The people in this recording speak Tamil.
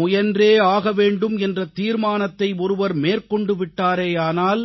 முயன்றேயாக வேண்டும் என்ற தீர்மானத்தை ஒருவர் மேற்கொண்டு விட்டாரேயானால்